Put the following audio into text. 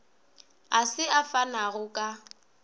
a se a fanago ka